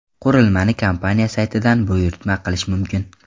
Qurilmani kompaniya saytida buyurtma qilish mumkin.